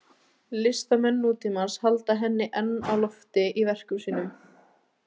Listamenn nútímans halda henni enn á lofti í verkum sínum.